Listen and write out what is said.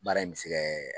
Baara in bɛ se kɛ